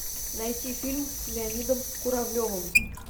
найти фильм с леонидом куравлевым